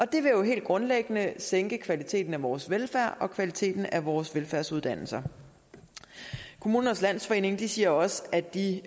det vil jo helt grundlæggende sænke kvaliteten af vores velfærd og kvaliteten af vores velfærdsuddannelser kommunernes landsforening siger også at de